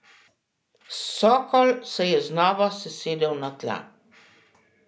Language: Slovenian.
Sokol se je znova sesedel na tla.